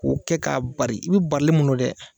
K'u kɛ k'a bari i bi barili mun do dɛ